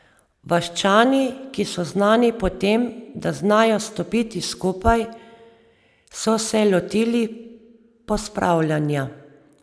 Vaščani, ki so znani po tem, da znajo stopiti skupaj, so se lotili pospravljanja.